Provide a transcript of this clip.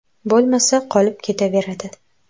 Bo‘lmasa qolib ketaveradi.